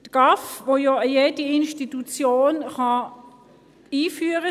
Einen GAV kann ja jede Institution einführen;